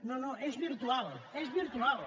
no no és virtual és virtual